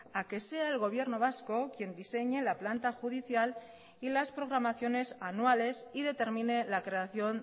a que sea el gobierno vasco quien diseñe la planta judicial y las programaciones anuales y determine la creación